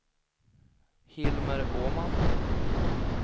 Hilmer Åman